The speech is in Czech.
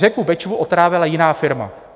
Řeku Bečvu otrávila jiná firma.